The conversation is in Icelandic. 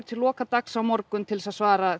til loka dags á morgun til að svara